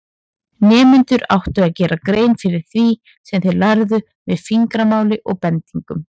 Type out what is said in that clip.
Nemendur áttu að gera grein fyrir því sem þeir lærðu með fingramáli og bendingum.